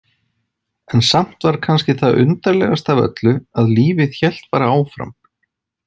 En samt var kannski það undarlegasta af öllu að lífið hélt bara áfram.